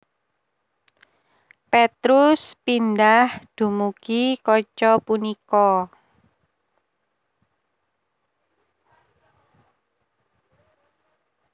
Petrus pindah dumugi kaca punika